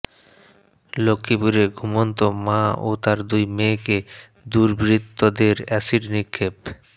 লক্ষ্মীপুরে ঘুমন্ত মা ও তার দুই মেয়েকে দুর্বৃত্তদের এসিড নিক্ষেপ